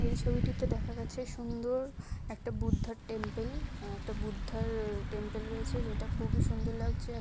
এই ছবিটিতে দেখা গেছে সুন্দর একটা বুদ্ধার টেম্পেল আ একটা বুদ্ধার টেম্পেল রয়েছে যেটা খুবই সুন্দর লাগছে।